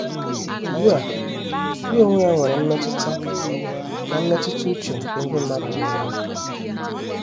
Ugbu a ya onwe ya nwere mmetụta na mmetụta uche nke ndị mmadụ na - enwe.